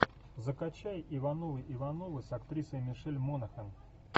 закачай ивановы ивановы с актрисой мишель монахэн